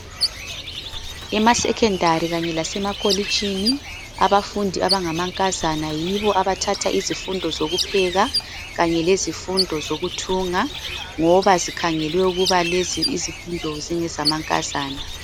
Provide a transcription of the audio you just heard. Emasekhondari kanye lasemakolitshini abafundi abangamankazana yibo abathatha izifundozo zokupheka lezifundo zokuthunga ngoba zikhangelwe ukuba lezi izifundo zingezama nkazana.